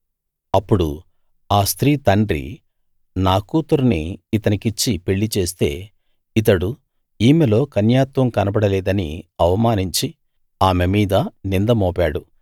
అప్పుడు ఆ స్త్రీ తండ్రి నా కూతుర్ని ఇతనికిచ్చి పెళ్ళిచేస్తే ఇతడు ఈమెలో కన్యాత్వం కనబడలేదని అవమానించి ఆమె మీద నింద మోపాడు